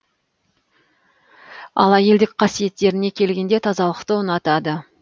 ал әйелдік қасиеттеріне келгенде тазалықты ұнатады